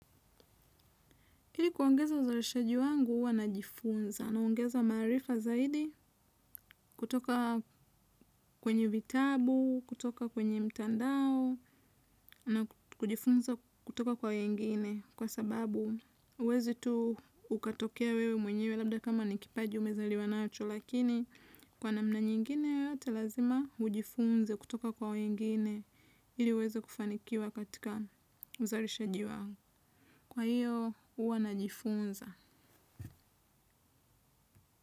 Hili kuongeza uzarishaji wangu uwa najifunza naongeza marifa zaidi kutoka kwenye vitabu, kutoka kwenye mtandao na kujifunza kutoka kwa wengine kwa sababu uwezi tu ukatokea wewe mwenyewe labda kama nikipaji umezaliwa nacho lakini kwa namna nyingine yoyote lazima ujifunze kutoka kwa wengine hili uweze kufanikiwa katika uzarishaji wangu. Kwa hiyo uwa najifunza.